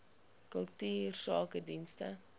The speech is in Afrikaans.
kultuursakedienste